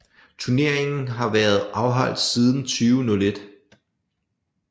Turneringen har været afholdt siden 2001